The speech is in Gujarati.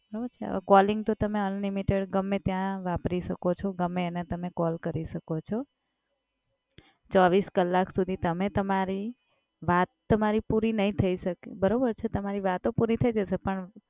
હવે Calling તો તમે unlimited ગમ્મે ત્યા વપરી શકો છો. ગમે એને તમે કોલ કરી શકો છો. ચોવવીસ કલાક સુધી તમે તામારી વાત તામારી પુરી નહી થઈ શકે. બરોબર છે? તમારી વાતો પુરી થઈ જશે પણ